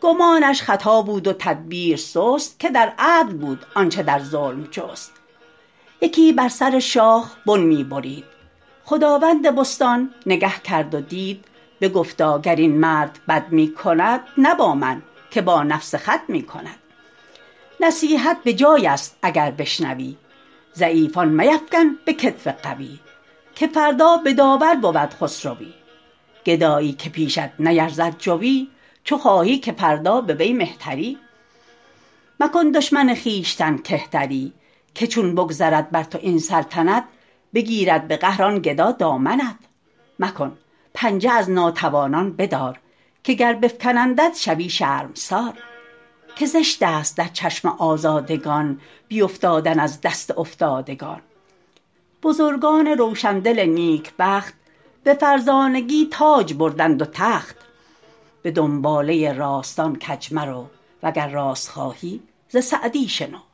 گمانش خطا بود و تدبیر سست که در عدل بود آنچه در ظلم جست یکی بر سر شاخ بن می برید خداوند بستان نگه کرد و دید بگفتا گر این مرد بد می کند نه با من که با نفس خود می کند نصیحت بجای است اگر بشنوی ضعیفان میفکن به کتف قوی که فردا به داور برد خسروی گدایی که پیشت نیرزد جوی چو خواهی که فردا به وی مهتری مکن دشمن خویشتن کهتری که چون بگذرد بر تو این سلطنت بگیرد به قهر آن گدا دامنت مکن پنجه از ناتوانان بدار که گر بفکنندت شوی شرمسار که زشت است در چشم آزادگان بیافتادن از دست افتادگان بزرگان روشندل نیکبخت به فرزانگی تاج بردند و تخت به دنباله راستان کج مرو وگر راست خواهی ز سعدی شنو